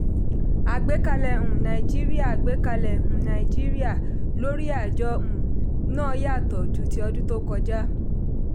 àgbẹ́kẹ̀lé um nàìjíríà àgbẹ́kẹ̀lé um nàìjíríà lórí àjọ um náà yàtọ̀ ju ti ọdún tó kọjá.